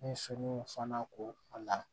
Ni sow fana ko a la